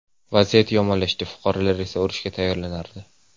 Vaziyat yomonlashdi, fuqarolar esa urushga tayyorlanardi.